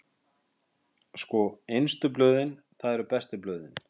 Sko, innstu blöðin, það eru bestu blöðin.